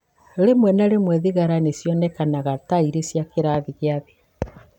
Rĩmwe na rĩmwe thigara nĩ cionekaga ta irĩ cia kĩrathi gĩa thĩ.